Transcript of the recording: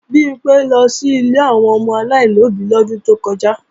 Bimpé lọ sí ilé àwọn ọmọ aláìlóbí lọ́dún tó kọjá